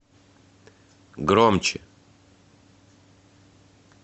громче